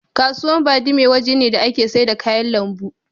Kasuwa Badime waje ne da ake saida kayan lambu.